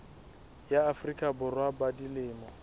ya afrika borwa ba dilemo